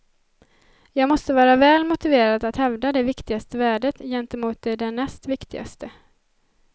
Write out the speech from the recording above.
Jag måste vara väl motiverad att hävda det viktigaste värdet gentemot det därnäst viktigaste.